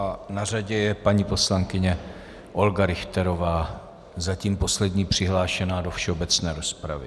A na řadě je paní poslankyně Olga Richterová, zatím poslední přihlášená do všeobecné rozpravy.